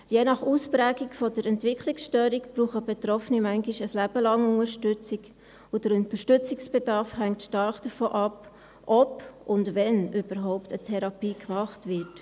Je nach Ausprägung der Entwicklungsstörung brauchen Betroffene manchmal ein Leben lang Unterstützung, und der Unterstützungsbedarf hängt stark davon ab, ob und wann überhaupt eine Therapie gemacht wird.